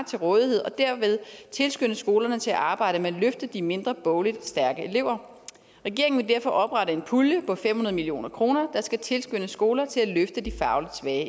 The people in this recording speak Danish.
til rådighed og derved tilskynde skolerne til at arbejde med at løfte de mindre bogligt stærke elever regeringen vil derfor oprette en pulje på fem hundrede million kr der skal tilskynde skoler til at løfte de fagligt svage